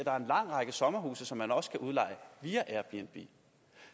er en lang række sommerhuse som man også kan leje via airbnb